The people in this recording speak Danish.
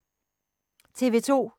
TV 2